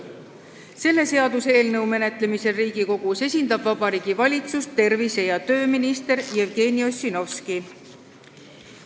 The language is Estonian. Selle seaduseelnõu menetlemisel Riigikogus esindab Vabariigi Valitsust tervise- ja tööminister Jevgeni Ossinovski.